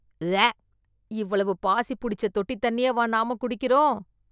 உவா. இவ்வளவு பாசி புடிச்ச தொட்டித் தண்ணியவா , நாமக் குடிக்கிறோம்.